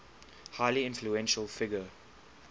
highly influential figure